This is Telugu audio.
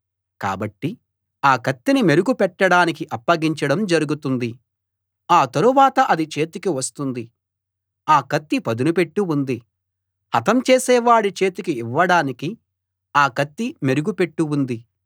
కాబట్టి ఆ కత్తిని మెరుగు పెట్టడానికి అప్పగించడం జరుగుతుంది ఆ తరువాత అది చేతికి వస్తుంది ఆ కత్తి పదునుపెట్టి ఉంది హతం చేసేవాడి చేతికి ఇవ్వడానికి ఆ కత్తి మెరుగు పెట్టి ఉంది